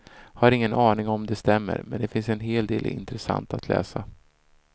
Har ingen aning om det stämmer, men här finns en del intressant att läsa.